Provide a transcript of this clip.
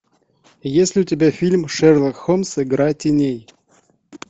есть ли у тебя фильм шерлок холмс игра теней